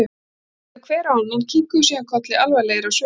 Þeir litu hver á annan og kinkuðu síðan kolli alvarlegir á svip.